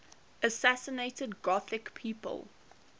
assassinated gothic people